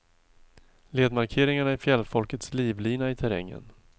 Ledmarkeringarna är fjällfolkets livlina i terrängen.